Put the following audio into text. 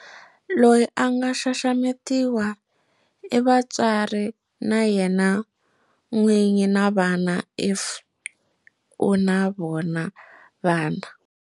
Loyi a nga xaxametiwa i vatswari na yena n'winyi na vana if u na vona vana.